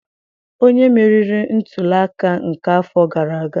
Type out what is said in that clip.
Onye meriri ntuli aka nke afọ gara aga?